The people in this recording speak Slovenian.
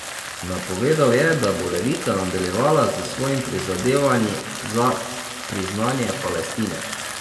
Napovedal je, da bo Levica nadaljevala s svojimi prizadevanji za priznanje Palestine.